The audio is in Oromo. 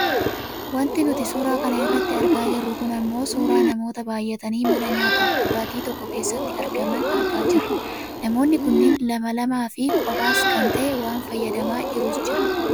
Wanti nuti suura kana irratti argaa jirru kun ammoo suuraa namoota baayyatanii mana nyaataaf dhugaatii tokko keessatti argaman argaa jirra. Namoonni kunneen lama lama fi koohaas kan taa'ee waa fayyadamaa jirus jira.